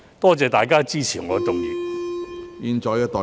多謝大家支持我動議的議案。